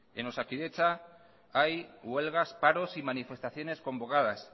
en osakidetza hay huelgas paros y manifestaciones convocadas